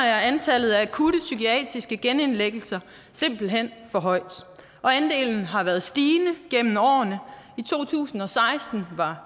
er antallet af akutte psykiatriske genindlæggelser simpelt hen for højt og andelen har været stigende gennem årene i to tusind og seksten var